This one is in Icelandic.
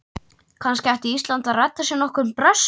Kannski ætti Ísland að redda sér nokkrum Brössum?